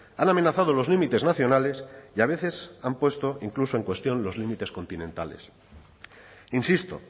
han amenazado los límites nacionales y a veces han puesto incluso en cuestión los límites continentales insisto